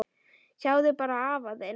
Sjáðu bara afa þinn.